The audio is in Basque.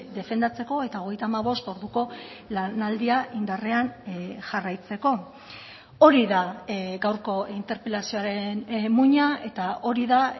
defendatzeko eta hogeita hamabost orduko lanaldia indarrean jarraitzeko hori da gaurko interpelazioaren muina eta hori da